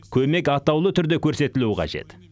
көмек атаулы түрде көрсетілуі қажет